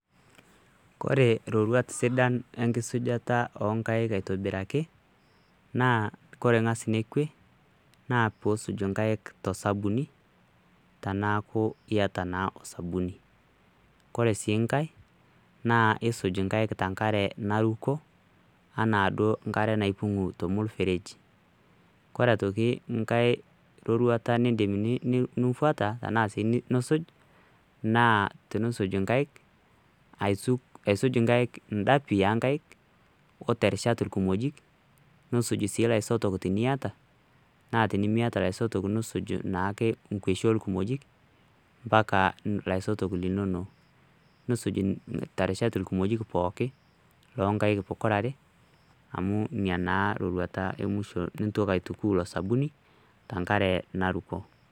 ore roruat sidan enkisuma esujata onkaik aitobiraki naa kore ng'as nekue naapisuj nkaik tosabuni teneaku naa iyata naa osabuni koree si ngaee naa isuj nkaik tosabuni naruko enaa duoo nkare naipung'u tolmuseregi koree aitoki ngae rorurata nindim nifuata ashu nisuj naa tenisuj inkaik aisuj indapi onkaik oterishat ilkimojik nisuj sii loisotok eniata naa tenimiata loisotok nisuj naake inkoshi olkimojik mpaka laisotok linonok nisuj terishat ilkimojik pookin lonkaik pokirare amu naa roruata emwisho nintoki aituku ilo sabuni tenkare naruko